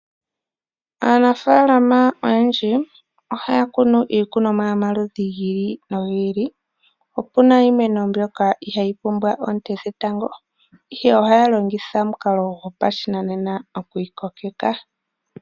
Aanafalama oyendji ohaya kunu iikunomwa yomaludhi gi ili nogi ili opuna iimeno mbyoka ihayi pumbwa oonte dhetango ohaya longitha omukalo gopashinanena okuyi kokeka.